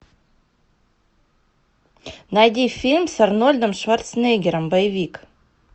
найди фильм с арнольдом шварценеггером боевик